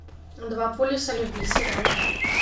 два полюса любви сериал